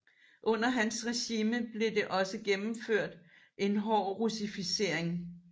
Under hans regime blev det også gennemført en hård russificering